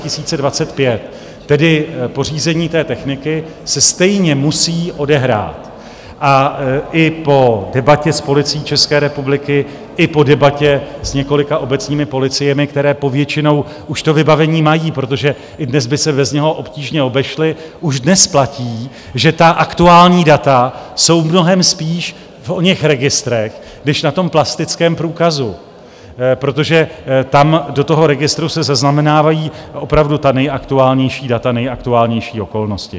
Tedy pořízení té techniky se stejně musí odehrát, a i po debatě s Policií České republiky i po debatě s několika obecními policiemi, které povětšinou už to vybavení mají, protože i dnes by se bez něho obtížně obešly, už dnes platí, že ta aktuální data jsou mnohem spíš v oněch registrech než na tom plastickém průkazu, protože tam do toho registru se zaznamenávají opravdu ta nejaktuálnější data, nejaktuálnější okolnosti.